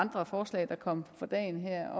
andre forslag der kom for dagen her